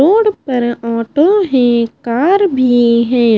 Road पर auto है car भी है।